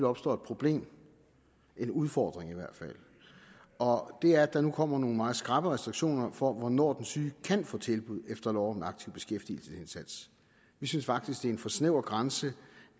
opstår et problem en udfordring i hvert fald og det er at der nu kommer nogle meget skrappe restriktioner for hvornår den syge kan få tilbud efter lov om en aktiv beskæftigelsesindsats vi synes faktisk det er en for snæver grænse